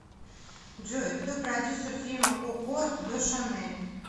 джой кто продюсер фильма коко до шанель